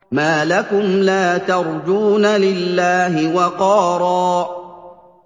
مَّا لَكُمْ لَا تَرْجُونَ لِلَّهِ وَقَارًا